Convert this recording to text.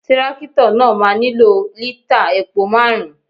Tírákìtọ̀ náà máa nílò lítày epo márùn-ún.